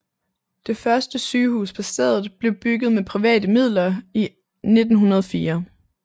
Det første sygehus på stedet blev bygget med private midler i 1904